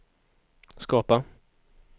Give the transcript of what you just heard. skapa